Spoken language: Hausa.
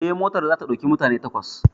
Eh, motar za ta ɗauki mutane takwas